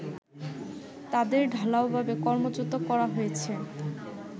তাদের ঢালাওভাবে কর্মচ্যুত করা হয়েছে